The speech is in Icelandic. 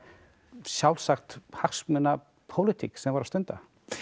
sjálfsögð hagsmunapólitík sem þeir voru að stunda